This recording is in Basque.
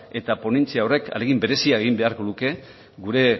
eta ponentzia horrek ahalegin berezia egin beharko luke gure